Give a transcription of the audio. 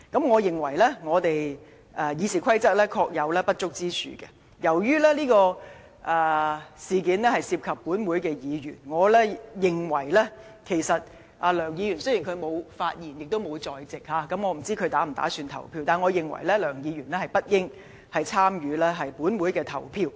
我認為《議事規則》確有不足之處，因為此事涉及立法會議員，雖然梁議員沒有發言，也不在席，亦不知道他稍後是否打算投票，但我認為梁議員不應該參與本會的投票。